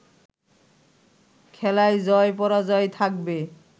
খেলায় জয়-পরাজয় থাকবে